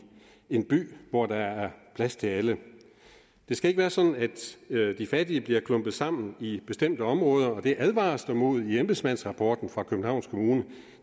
en by hvor der er plads til alle det skal ikke være sådan at de fattige bliver klumpet sammen i bestemte områder det advares der mod i embedsmandsrapporten fra københavns kommune